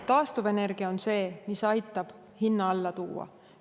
Taastuvenergia on see, mis aitab hinna alla tuua.